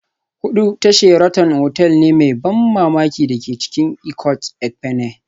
Hudu ta Sheraton otal ne mai ban mamaki da ke cikin Ikot Ekpene